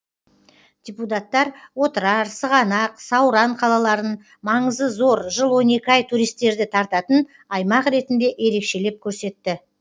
депутаттар отырар сығанақ сауран қалаларын маңызы зор жыл он екі ай туристерді тартатын аймақ ретінде ерекшелеп көрсетті